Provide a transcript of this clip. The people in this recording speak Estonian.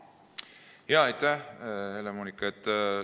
Aitäh, Helle-Moonika!